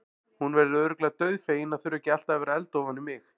Hún verður örugglega dauðfegin að þurfa ekki alltaf að vera að elda ofan í mig.